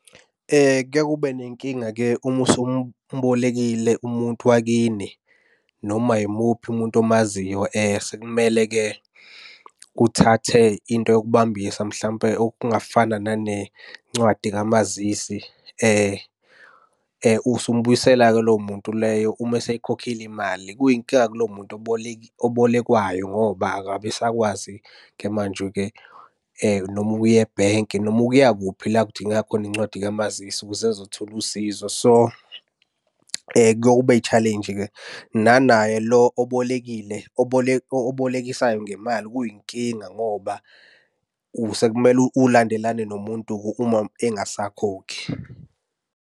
Kuyaye kube nenkinga-ke uma usumubolekile umuntu wakini noma yimuphi umuntu omaziyo sekumele-ke uthathe into yokubambisa mhlawumpe okungafana nanencwadi kamazisi. Usumubuyisela-ke lowo muntu leyo uma eseyikhokhile imali. Kuyinkinga kulowo muntu obolekwayo ngoba akabe esakwazi-ke manje-ke noma ukuya ebhenki noma ukuya kuphi la kudingeka khona incwadi kamazisi ukuze ezothola usizo. So, kuyaye kube i-challenge-ke, nanaye lo obolekile obolekisayo ngemali kuyinkinga ngoba sekumele ulandelane nomuntu-ke uma engasakhokhi.